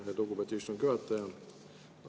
Aitäh, lugupeetud istungi juhataja!